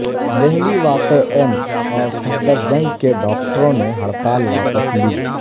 دہلی واقع ایمس اور صفدر جنگ کے ڈاکٹروں نے ہڑتال واپس لی